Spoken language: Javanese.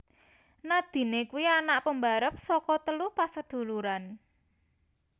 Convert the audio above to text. Nadine kuwi anak pembarep saka telu pasaduluran